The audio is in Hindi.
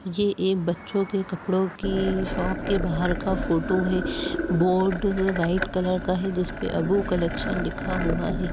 ये एक बच्चो के कपड़ो की शॉप के बाहर का फोटो है। बोर्ड वाइट कलर का है जिसपे अबू कलेक्शन लिखा हुआ है।